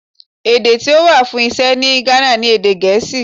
Èdè tí ó wà fún Iṣẹ́ ní Ghana ni èdè Gèésì.